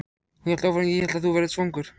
Hún hélt áfram: Ég hélt að þú værir svangur.